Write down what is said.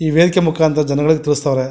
ಈ ವೇದಿಕೆ ಮುಕಾಂತರ ಜನಗಳಿಗೆ ತೋರಿಸ್ತಾವ್ರೆ-